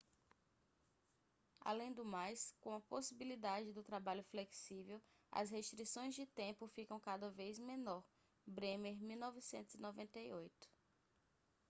além do mais com a possibilidade do trabalho flexível as restrições de tempo ficam cada vez menor. bremer 1998